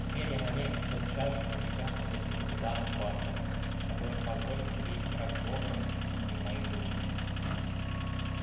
теперь я намерен тотчас же повидаться с этим капитаном батлером который позволил себе играть добрым именем моей дочери